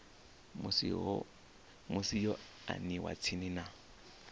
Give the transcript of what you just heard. musi yo aniwa tsini na